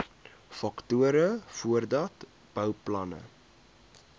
faktore voordat bouplanne